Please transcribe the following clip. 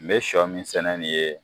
N be sɔ min sɛnɛ nin ye